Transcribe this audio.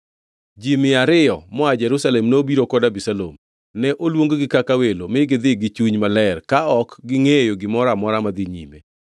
Ji mia ariyo moa Jerusalem nobiro kod Abisalom. Ne oluong-gi kaka welo mi gidhi gichuny maler ka ok gingʼeyo gimoro amora madhi nyime.